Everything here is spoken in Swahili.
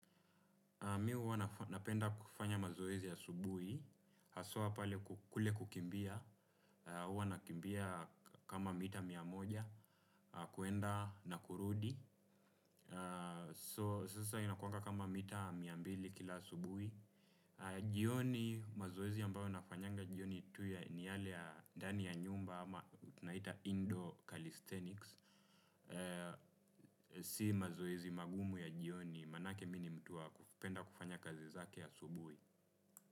Mimi huwa napenda kufanya mazoezi asubuhi, haswa pale kule kukimbia, huwa nakimbia kama mita mia moja, kwenda na kurudi. So sasa inakuanga kama mita mia mbili kila asubuhi. Jioni mazoezi ambayo nafanyanga jioni tu ni yale ya ndani ya nyumba ama tunaita indoor calisthenics. Si mazoezi magumu ya jioni, maanake mimi ni mtu wa kupenda kufanya kazi zake asubuhi.